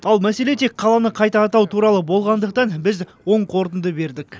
ал мәселе тек қаланы қайта атау туралы болғандықтан біз оң қорытынды бердік